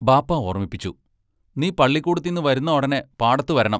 ബാപ്പാ ഓർമിപ്പിച്ചു: നീ പള്ളിക്കൂടത്തിന്നു വരുന്ന ഒടനെ പാടത്തു വരണം.